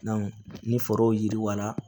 ni fɛɛrɛw yiriwala